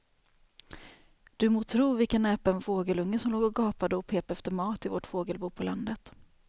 Du må tro vilken näpen fågelunge som låg och gapade och pep efter mat i vårt fågelbo på landet.